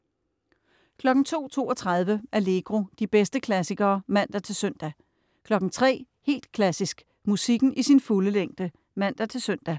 02.32 Allegro. De bedste klassikere (man-søn) 03.00 Helt Klassisk. Musikken i sin fulde længde (man-søn)